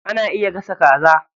Ana iya gasa kaza.